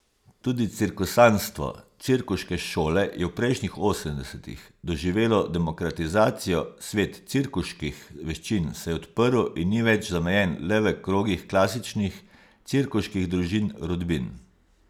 Tudi cirkusantstvo, cirkuške šole, je v prejšnjih osemdesetih doživelo demokratizacijo, svet cirkuških veščin se je odprl in ni več zamejen le v krogih klasičnih cirkuških družin, rodbin.